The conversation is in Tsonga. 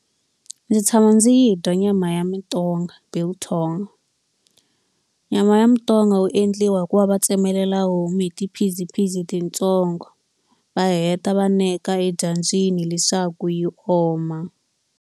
Ndzi tshama ndzi yi dya nyama ya mitonga biltong. Nyama ya mitonga wu endliwa hi ku va va tsemelela homu hi ti-piece piece titsongo, va heta va neka edyambyini leswaku yi oma.